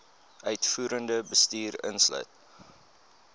uitvoerende bestuur insluit